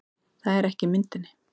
Það er ekki í myndinni